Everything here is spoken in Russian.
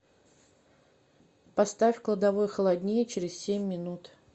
поставь в кладовой холоднее через семь минут